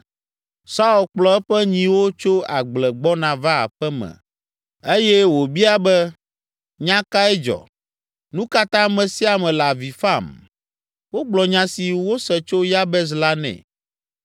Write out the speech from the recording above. Saul kplɔ eƒe nyiwo tso agble gbɔna va aƒe me eye wòbia be, “Nya kae dzɔ? Nu ka ta ame sia ame la avi fam?” Wogblɔ nya si wose tso Yabes la nɛ.